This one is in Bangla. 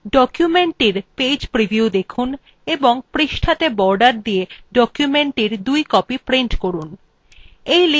documentটির page preview দেখুন এবং পৃষ্ঠাত়ে borders দিয়ে documentthe দুই copies print করুন